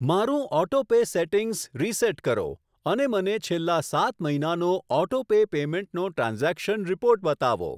મારું auto pay settings reset કરો અને મને છેલ્લા સાત મહિનાનો ઓટો પે પેમેંટનો ટ્રાન્ઝેક્શન રીપોર્ટ બતાવો.